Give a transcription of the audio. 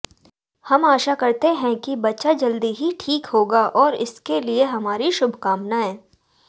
हम आशा करते हैं कि बच्चा जल्दी ही ठीक होगा और इसके लिए हमारी शुभकामनायें